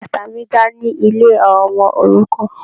Bàtà mí já ní ilé àwọn ọmọ-òrukàn.